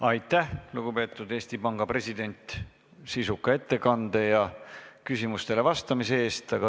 Aitäh, lugupeetud Eesti Panga president, sisuka ettekande ja küsimustele vastamise eest!